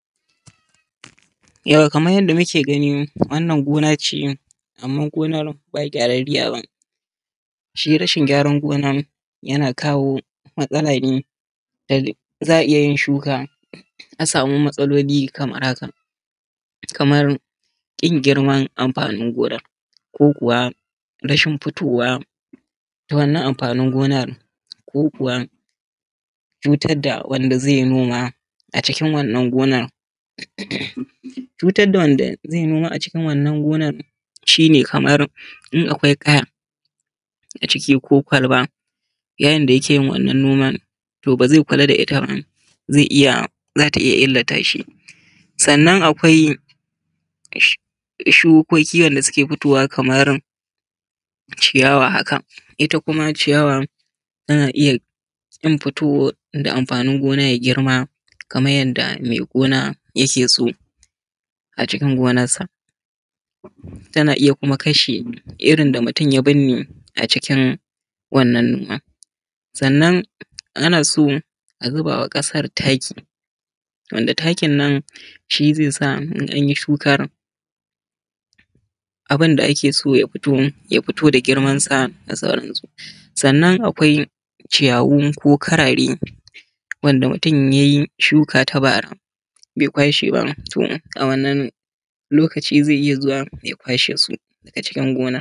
Kamar yadda muke gani, wannan gona ce amma gonar ba gyararriya ba. Shi rashin gyaran gonar yana kawo matsala ne za a iya yin shuka a samu matsaloli kamar haka. Kamar ƙin girman amfanin gona ko kuwa rashin fitowar wannan amfanin gonar, ko kuwa cutar da wanda zai yi noman a cikin wannan gonar. Cutar da wanda zai yi noma a cikin wannan gonar shi ne kamar in akwai ƙaya a ciki ko kwalba yayin da yake yin wannan noman to ba zai ƙulla da ita ba, za ta iya illata shi. Sannan akwai shukoki wanda suke fitowa kamar ciyawa haka. Ita kuma ciyawan ana iya ƙin fito da amfanin gonar ya girma kamar yadda mai gona yake so a cikin gonarsa tana iya kuma kashe irin da mutun ya birne a cikin wannan noman. Sannan ana so a zuba wa ƙasar taki wanda takin nan shi zai sa in an yi shukan abun da ake so ya fito ya fito da girmansa da sauransu. Sannan akwai ciyawu ko karare wanda mutum ya yi shukkan ta bara bai kwashe ba to a wannan lokacin zai iya zuwa ya kwashe su a cikin gonar.